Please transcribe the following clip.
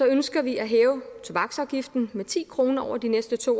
ønsker vi at hæve tobaksafgiften med ti kroner over de næste to